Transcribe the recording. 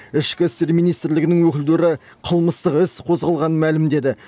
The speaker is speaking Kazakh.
ішкі істер министрілігінің өкілдері қылмыстық іс қозғалғанын мәлімдеді